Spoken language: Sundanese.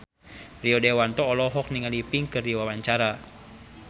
Rio Dewanto olohok ningali Pink keur diwawancara